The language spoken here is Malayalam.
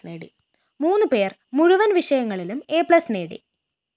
മൂന്ന് പേര്‍ മുഴുവന്‍ വിഷയങ്ങളിലും എ പ്ലസ്‌ നേടി